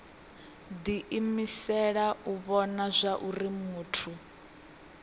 diimisela u vhona zwauri muthu